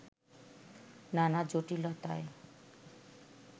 নানা জটিলতায়